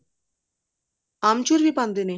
ਆਮਚੁਰ ਵੀ ਪਾਉਂਦੇ ਨੇ